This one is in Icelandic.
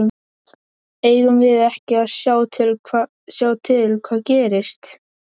Eigum við ekki að sjá til hvað gerist?